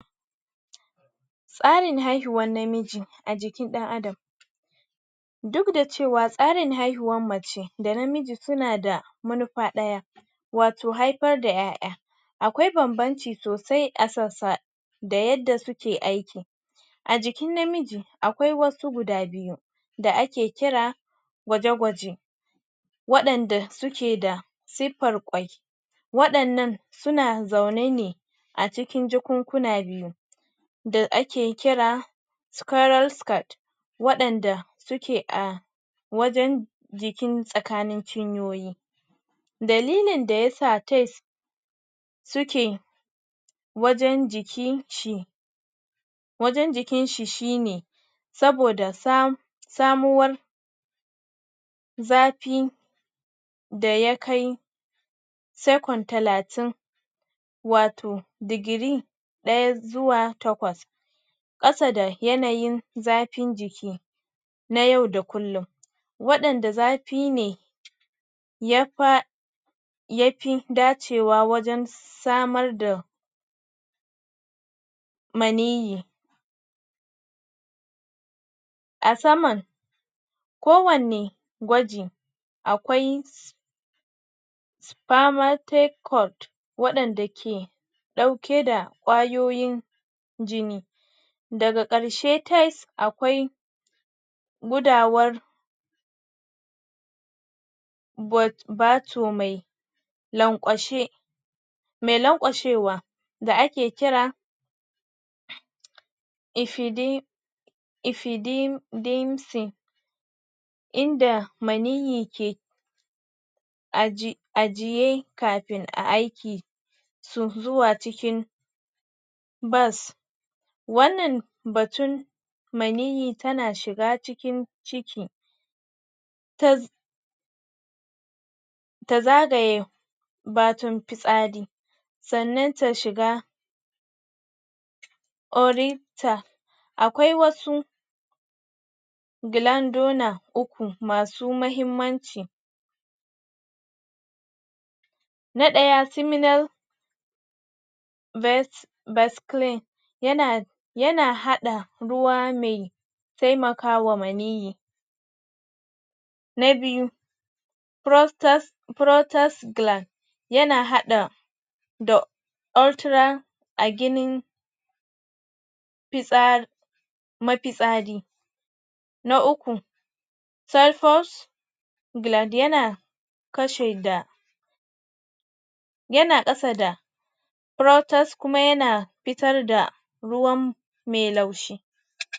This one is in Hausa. tsarin haihuwan namiji a jikin ɗan adam dukda cewa tsarin haihuwan mace da namiji suna da manufa ɗaya wato haifar da ƴaƴa. akwai banbanci sosai a sassa da yadda suke aiki a jikin namiji akwai wasu guda biyu da ake kira gwaje-gwaje waɗanda sukeda suffar kwai waɗannan suna zaune ne a cikin jakunkna biyu da ake kira scurel scat waɗanda suke a wajen jikin tsakanin cinyoyi dalilin da yasa tes suke wajen jiki shi wajen jikin shi shine saboda sam samuwar zafi da yakai sekon talatin wato digiri ɗaya zuwa takwas ƙasa da yanayin zafin jiki na yau da kullun waɗanda zafine yafa yafi dacewa wajen samar da maniyyi a saman kowanne gwaji akwai spamatekot waɗanda ke ɗauke da kwayoyin jini daga ƙarshe tes akwai gudawar bot bato me lanƙwashe me lanƙwashewa da ake kira ifidi ifidin din sin inda maniyyi ke aji ajiye kafin a aiki su zuwa cikin bas wannan batun maniyyi tana shiga cikin ciki tas tazagaye batun fitsari sannan ta shiga orita akwai wasu gilandona uku masu muhimmanci na ɗaya siminal ves vescline yana haɗa ruwa mai taimakawa maniyyi na biyu prostes protes glan yana haɗa da ultra aginin fitsa mafitsari na uku celcus glad yana kashe da yana ƙasa da prtes kuma yana fitar da ruwan me laushi.